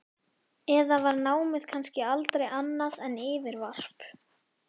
Eða var námið kannski aldrei annað en yfirvarp?